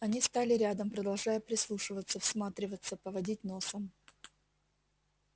они стали рядом продолжая прислушиваться всматриваться поводить носом